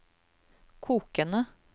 kokende